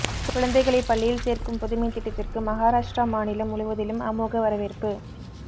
குழந்தைகளை பள்ளியில் சேர்க்கும் புதுமைத் திட்டத்திற்கு மஹாராஷ்ட்ரா மாநிலம் முழுவதிலும் அமோக வரவேற்பு